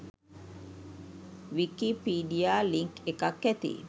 Wikipedia link එකත් ඇති